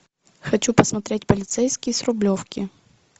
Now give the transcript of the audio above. хочу посмотреть полицейский с рублевки